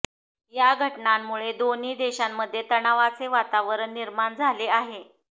या घटनांमुळे दोन्ही देशांमध्ये तणावाचे वातावरण निर्माण झाले आहे